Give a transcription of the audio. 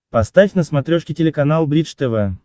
поставь на смотрешке телеканал бридж тв